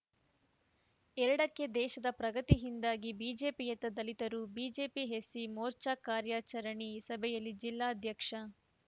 ಎರಡಕ್ಕೆದೇಶದ ಪ್ರಗತಿಯಿಂದಾಗಿ ಬಿಜೆಪಿಯತ್ತ ದಲಿತರು ಬಿಜೆಪಿ ಎಸ್ಸಿ ಮೋರ್ಚಾ ಕಾರ್ಯಕಾರಣಿ ಸಭೆಯಲ್ಲಿ ಜಿಲ್ಲಾಧ್ಯಕ್ಷ ಆರ್‌